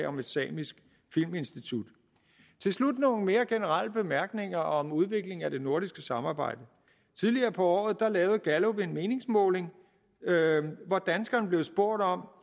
om et samisk filminstitut til slut nogle mere generelle bemærkninger om udviklingen af det nordiske samarbejde tidligere på året lavede gallup en meningsmåling hvor danskerne blev spurgt om